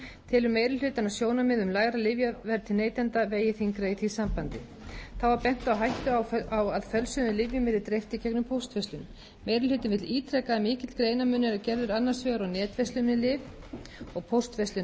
telur meiri hlutinn að sjónarmið um lægra lyfjaverð til neytenda vegi þyngra í því sambandi þá var bent á hættu á að fölsuðum lyfjum yrði dreift í gegnum póstverslun meiri hlutinn vill ítreka að mikill greinarmunur er gerður annars vegar á netverslun með lyf og póstverslun með lyf